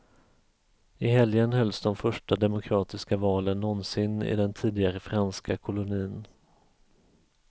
I helgen hölls de första demokratiska valen någonsin i den tidigare franska kolonin.